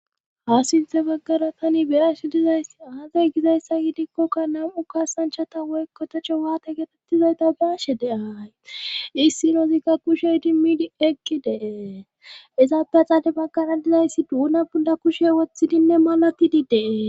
ha sinthe baggara tani biyash dizayssi aazey gizayssa giidikkokka nam7u kasanchata woykkotecho waate geetettizoyta baashe deay issinozigka kushey dimmidi eqki dee izaafeaxaade baggana dizayssi duuna bunda kushe woththidinne malatidi dee